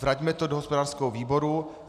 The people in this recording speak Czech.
Vraťme to do hospodářského výboru.